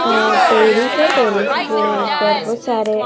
और टैरिस है टैरिस के ऊपर बहुत सारे--